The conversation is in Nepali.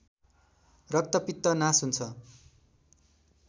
रक्तपित्त नास हुन्छ